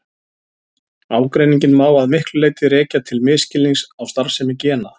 Ágreininginn má að miklu leyti rekja til misskilnings á starfsemi gena.